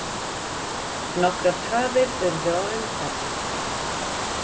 Nokkrar tafir urðu á umferð.